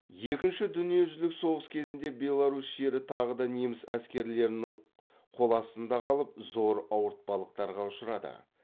екінші дүниежүзілік соғыс кезінде беларусь жері тағы да неміс әскерлерінің қоластында қалып зор ауыртпалықтарға ұшырады